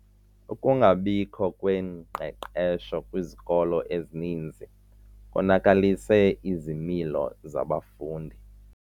Ukungabikho kwengqeqesho kwizikolo ezininzi konakalise izimilo zabafundi.